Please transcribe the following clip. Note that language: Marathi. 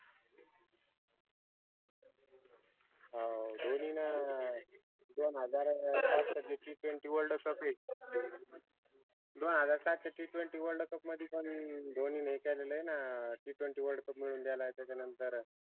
हाओ ध्वनीन अं दोन हजार TTwentyworldcup दोन हजार सहाचा TTwentyworldcup मदि पन धोनीने हे केलेलंय ना अं TTwentyworldcup मिळवून देलाय त्याच्या नंतर